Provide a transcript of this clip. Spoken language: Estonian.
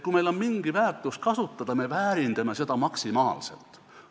Kui meil on mingi väärtus kasutada, siis me väärindame seda maksimaalselt.